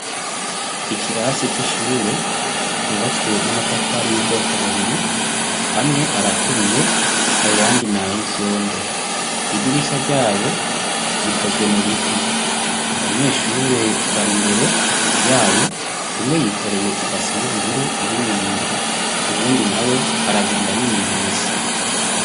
Ikirase c'ishuri cubatswe n''amatafari y'ubwoko bubiri amwe araturiye ayandi nay'ivyondo, idirisha ryayo rikozwe mu biti abanyeshure bari imbere yayo umwe yikoreye ibase y'ubururu irimwo ibintu uwundi nawe aragenda n'iminwe misa.